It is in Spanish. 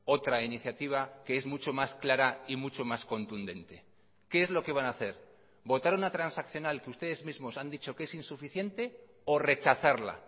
otra iniciativa que es mucho más clara y mucho más contundente qué es lo que van a hacer votar una transaccional que ustedes mismos han dicho que es insuficiente o rechazarla